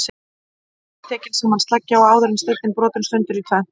Þá er tekin sama sleggja og áður og steinninn brotinn sundur í tvennt.